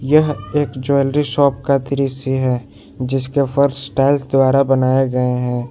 यह एक jewellery shop का दृश्य है जिसके फर्श टाइल्स द्वारा बनाए गए हैं।